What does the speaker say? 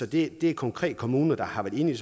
det er konkrete kommuner der har været inde